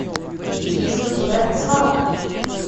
есть ли у тебя свалка